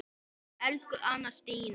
Elsku Anna Stína.